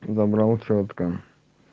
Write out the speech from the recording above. доброе утро водка